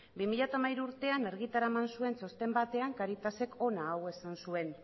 bi mila hamairu urtean argitara eman zuen txosten batean cáritasek hona hau esan zuen